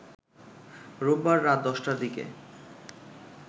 রোববার রাত ১০টার দিকে